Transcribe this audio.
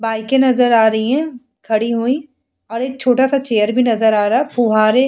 बाइकें नज़र आ रही है खड़ी हुई और एक छोटा-सा चेयर भी नज़र आ रहा है। फुहारें --